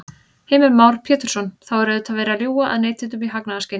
Heimir Már Pétursson: Þá er auðvitað verið að ljúga að neytendum í hagnaðarskyni?